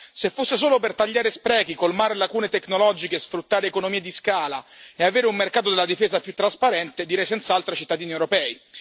Se fosse solo per tagliare sprechi, colmare lacune tecnologiche, sfruttare economie di scala e avere un mercato della difesa più trasparente, direi senz'altro ai cittadini europei.